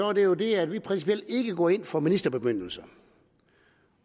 er det jo det at vi principielt ikke går ind for ministerbemyndigelser